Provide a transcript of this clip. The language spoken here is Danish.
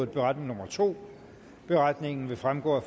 beretning nummer to beretningen vil fremgå af